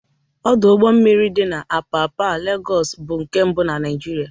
Ọdọ ụgbọ mmiri dị na Apapa, Legọs, bụ nke mbụ na Naịjịrịa